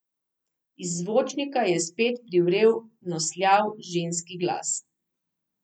Iz zvočnika je spet privrel nosljav ženski glas.